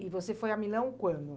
E você foi a Milão quando?